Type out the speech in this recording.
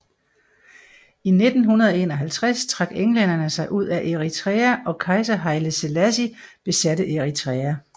I 1951 trak englænderne sig ud af Eritrea og kejser Haile Selassie besatte Eritrea